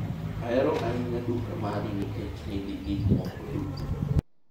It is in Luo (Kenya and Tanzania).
ahero ahinya duka mari nikech nigi gik moko duto